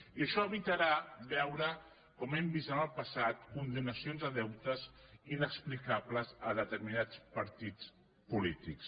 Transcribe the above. i això evitarà veure com hem vist en el passat condonacions de deutes inexplicables a determinats partits polítics